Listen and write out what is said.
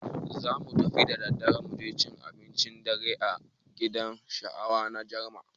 Zamu fita da daddare muje cin abincin dare a gidan gahawa na Jarma.